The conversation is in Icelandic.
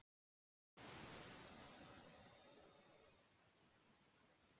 afköst sem raftæki tekur til sín eru margfeldi straums og spennu